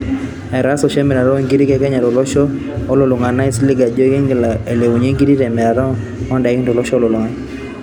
Etaase oshi emirataa oo nkirii ee Kenya too losho olulung'a naa aisiilig ajo eking'il ailepunye nkiri te mirata oo ndaiki to losho olulung'a